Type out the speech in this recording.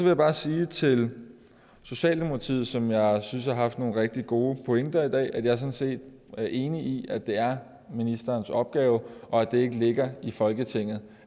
jeg bare sige til socialdemokratiet som jeg synes har haft nogle rigtig gode pointer i dag at jeg sådan set er enig i at det er ministerens opgave og at det ikke ligger i folketinget